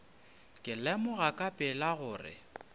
ka lemoga ka pela gore